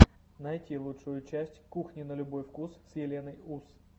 найти лучшую часть кухни на любой вкус с еленой ус